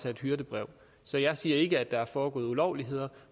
af et hyrdebrev så jeg siger ikke at der er foregået ulovligheder